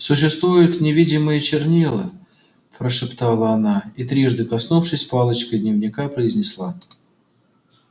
существуют невидимые чернила прошептала она и трижды коснувшись палочкой дневника произнесла